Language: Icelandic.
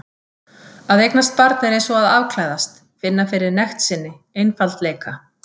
Að eignast barn er eins og að afklæðast, finna fyrir nekt sinni, einfaldleika.